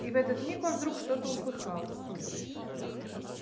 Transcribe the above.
и в этот миг он вдруг что-то услыхал